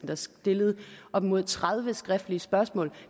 der stillede op mod tredive skriftlige spørgsmål